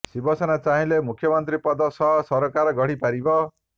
ଶିବସେନା ଚାହିଁଲେ ମୁଖ୍ୟମନ୍ତ୍ରୀ ପଦ ସହ ସରକାର ଗଢି ପାରିବ